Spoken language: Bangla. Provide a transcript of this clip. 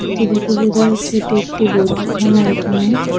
এটি দেখে বোঝা যাচ্ছে এটি একটি বৈঠকখানা এখানে।